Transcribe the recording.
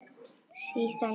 Síðan ég